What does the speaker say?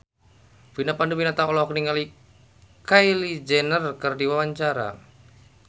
Vina Panduwinata olohok ningali Kylie Jenner keur diwawancara